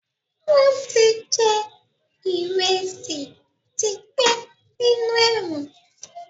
Wọn tí jẹ ìrẹsì tí pẹ́ nínú ẹ̀wọ̀n